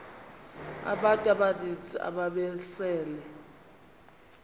abantu abaninzi ababesele